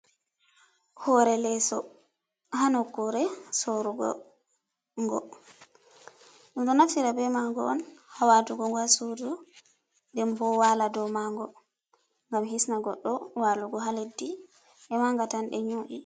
Hore leso, hanokkure sorugo ngo. ɗum ɗo naftira be ma ngo on hawatugo ngo hasodu, nden bo wala dow ma ngo ngam hisna goɗɗo walugo ha leddi, e ma nga tan ɗe nyu’i.